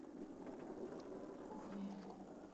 кохме